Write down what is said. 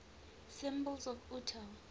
symbols of utah